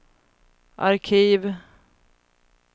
arkiv